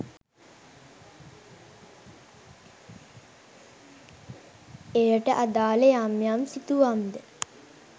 එයට අදාළ යම් යම් සිතුවම් ද